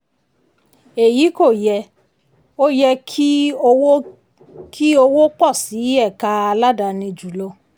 èyí kò yẹ; ó yẹ kí owó kí owó pọ̀ sí ẹ̀ka aládáàni ju lọ.